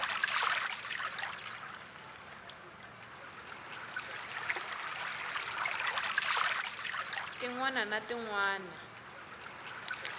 tin wana na tin wana